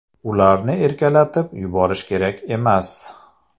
Ularni erkalatib yuborish kerak emas.